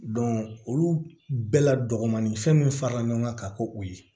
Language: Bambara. olu bɛɛ la dɔgɔnin fɛn min farala ɲɔgɔn kan ka k'o ye